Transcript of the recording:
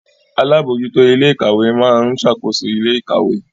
Alábòójútó ilé ìkàwé máa ń ṣàkóso ilé ìkàwé